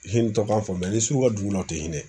dɔ kan ni sugu ka dugu la tɛ hinɛ